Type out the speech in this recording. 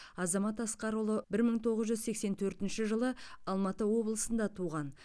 азамат асқарұлы бір мың тоғыз жүз сексен төртінші жылы алматы облысында туған